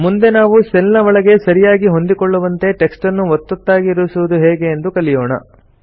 ಮುಂದೆ ನಾವು ಸೆಲ್ ನ ಒಳಗೆ ಸರಿಯಾಗಿ ಹೊಂದಿಕೊಳ್ಳುವಂತೆ ಟೆಕ್ಸ್ಟ್ ನ್ನು ಒತ್ತೊತ್ತಾಗಿ ಇರಿಸುವುದು ಹೇಗೆ ಎಂದು ಕಲಿಯೋಣ